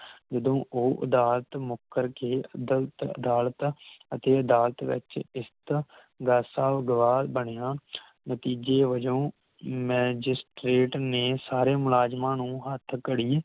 ਜਦੋ ਉਹ ਅਦਾਲਤ ਮੁਕਰ ਕੇ ਅਦਲਤ ਅਦਾਲਤ ਅਤੇ ਅਦਾਲਤ ਵਿਚ ਇਸ ਦਾ ਗਵਾਹ ਬਣਿਆ ਨਤੀਜੇ ਵਜੋਂ Magirtrate ਨੇ ਸਾਰੇ ਮੁਲਾਜਮਾ ਨੂੰ ਹੱਥਕੜੀ